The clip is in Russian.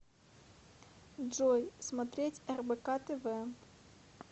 джой смотреть рбк тв